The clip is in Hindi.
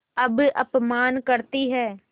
अब अपमान करतीं हैं